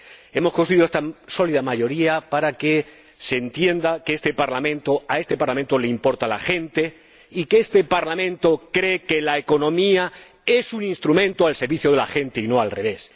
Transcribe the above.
Hemos construido esta sólida mayoría para que se entienda que a este Parlamento le importa la gente y que este Parlamento cree que la economía es un instrumento al servicio de la gente y no al revés.